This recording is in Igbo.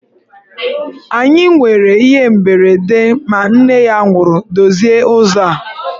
Anyị nwere ihe mberede ma nne ya nwụrụ, dozie ụzọ a!